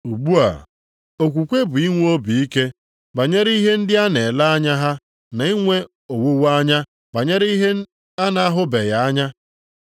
Ugbu a, okwukwe bụ inwe obi ike banyere ihe ndị a na-ele anya ha na inwe owuweanya banyere ihe a na-ahụbeghị anya.